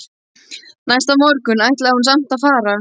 Næsta morgun ætlaði hún samt að fara.